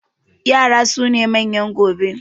yara sune manyan gobe